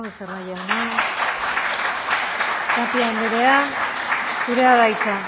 becerra jauna tapia andrea zurea da hitza